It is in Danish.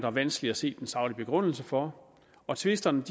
er vanskeligt at se den saglige begrundelse for og tvisterne